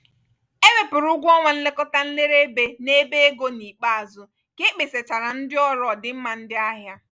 e wepụrụ ụgwọ ọnwa nlekọta nlere ébé n'ebe ego n'ikpeazụ ka ekpesachaara ndị ọrụ ọdịmma ndị ahịa.